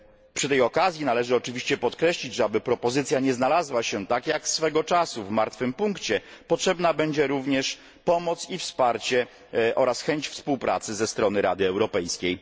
Przy tej okazji należy oczywiście podkreślić, że aby propozycja nie znalazła się tak jak swego czasu w martwym punkcie, potrzebna będzie również pomoc i wsparcie oraz chęć współpracy ze strony Rady Europejskiej.